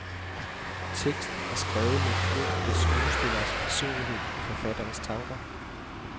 Teksten er skrevet med de enkelte skuespilleres personlighed i forfatterens tanker.